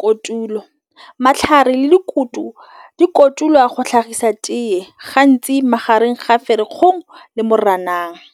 Kotulo matlhare le dikoto di kotulwa go tlhagisa teye gantsi magareng ga fa lekgong le .